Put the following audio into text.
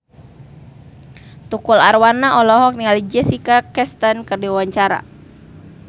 Tukul Arwana olohok ningali Jessica Chastain keur diwawancara